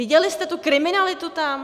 Viděli jste tu kriminalitu tam?